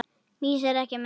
Mýs eru ekki menn